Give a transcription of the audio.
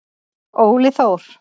Óli Þór.